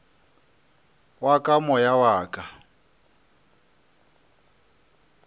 wa ka moya wa ka